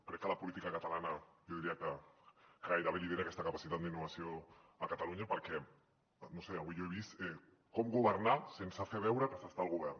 crec que la política catalana jo diria que gairebé lidera aquesta capacitat d’innovació a catalunya perquè no ho sé avui jo he vist com governar sense fer veure que s’està al govern